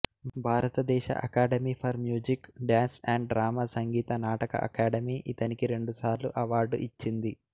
భారతదేశ academy for music dance and drama Sangeet Natak academy ఇతనికి రెండుసార్లు అవార్డు ఇచ్చింది